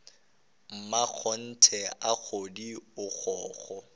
mmakgonthe a kgodi a kgokgo